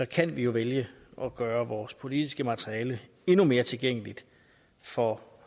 kan vi jo vælge at gøre vores politiske materiale endnu mere tilgængeligt for